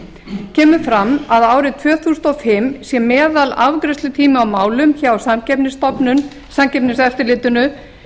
símafélög kemur fram að árið tvö þúsund og fimm sé meðalafgreiðslutími á málum hjá samkeppniseftirlitinu